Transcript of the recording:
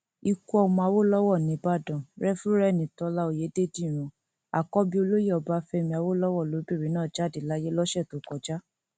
ikú ọmọ awolowo nìbàdàn refúreeni tólà ọyédèdíran àkọbí olóyè ọbáfẹmi awolowo lobìnrin náà jáde láyé lọsẹ tó kọjá